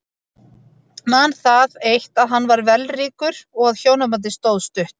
Man það eitt að hann var vellríkur og að hjónabandið stóð stutt.